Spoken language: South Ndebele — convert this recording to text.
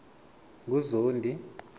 nguzondi